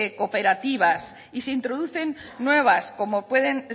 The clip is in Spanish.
cooperativas y se introducen nuevas como pueden